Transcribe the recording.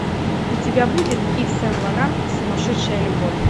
у тебя будет ив сен лоран сумасшедшая любовь